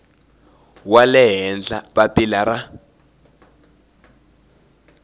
wa le henhla papila ra